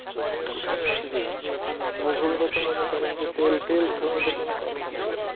জি মুঘলরা তো মনে করেন যে, তেল তেল ছাড়া ওদের কোনো কথা নাই।